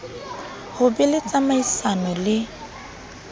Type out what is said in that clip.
ho be le tsamaisano le